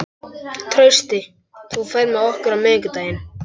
Trausti, ferð þú með okkur á miðvikudaginn?